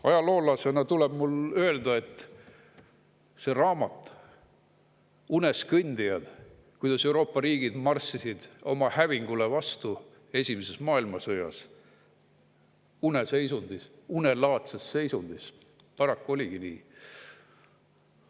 Ajaloolasena tuleb mul öelda, et kui raamat "Uneskõndijad" kirjutab sellest, kuidas Euroopa riigid marssisid oma hävingule vastu esimeses maailmasõjas, uneseisundis, unelaadses seisundis, siis paraku nii oligi.